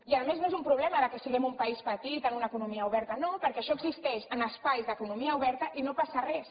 i a més no és un problema que siguem un país petit en una economia ober ta no perquè això existeix en espais d’economia oberta i no passa res